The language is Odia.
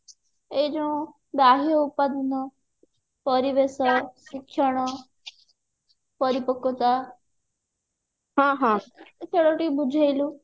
ଏଇ ଯୋଉ ବାହ୍ୟ ଉପାଦାନ ପରିବେଶ ଶିକ୍ଷଣ ପରି ସେଇଗୁଡା ଟିକେ ବୁଝେଇଲୁ